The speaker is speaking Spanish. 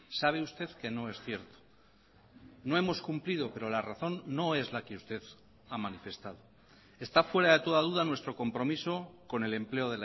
sabe usted que no es cierto no hemos cumplido pero la razón no es la que usted ha manifestado está fuera de toda duda nuestro compromiso con el empleo